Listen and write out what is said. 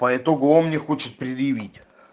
по итогу он мне хочет предъявить